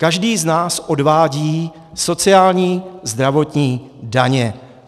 Každý z nás odvádí sociální, zdravotní, daně.